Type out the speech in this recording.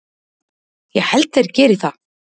Ég held þeir geri það.